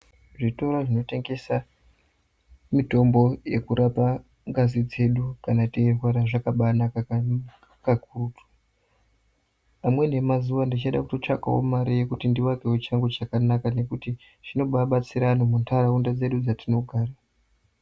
Zvitora zvinotengesa mitombo yekurapa ngazi dzedu kana teirwara zvakabanaka kakurutu. Amweni emazuva ndichada kutotsvakawo mare yekuti ndivakewo changu chakanaka nekuti zvinombabatsira anhu muntaraunda dzedu dzatinogara.